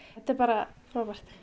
þetta er bara frábært